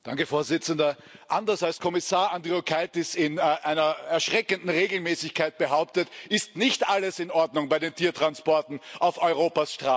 Herr Präsident! Anders als Kommissar Andriukaitis in einer erschreckenden Regelmäßigkeit behauptet, ist nicht alles in Ordnung bei den Tiertransporten auf Europas Straßen.